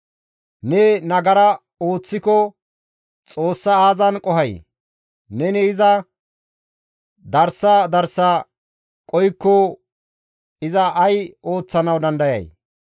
Neni nagara ooththiko Xoossa aazan qohay? Neni iza darsa darsa qohikko iza ay ooththanawu dandayay?